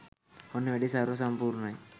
ඔන්න වැඩේ සර්ව සම්පූර්ණයි